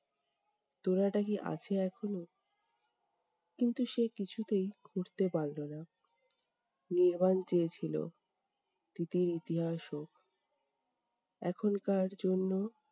তোড়াটা কি আছে এখনও? কিন্তু সে কিছুতেই খুঁড়তে পারলো না। নির্বাণ চেয়েছিল, তিতির ইতিহাস হোক। এখনকার জন্য